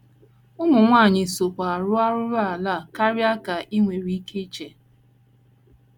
Ụmụ nwanyị sokwa arụ arụrụala a karịa ka i nwere ike iche.